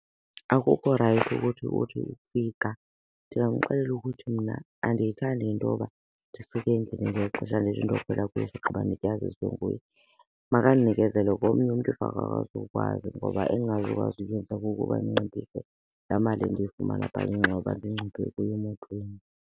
Akukho right ukuthi uthi ufika, ndingamxelela ukuthi mna andiyithandi into yoba ndisuke endlini ngexesha ndithi ndiyokhwela kuye usogqiba ndilityaziswe nguye. Makandinikezele komnye umntu if akazukwazi ngoba endingazukwazi uyenza kukuba ndinciphise laa mali ndiyifumana phaa ngenxa yoba ndincuphe kuye emotweni.